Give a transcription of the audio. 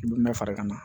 I bɛ mɛ fara i kan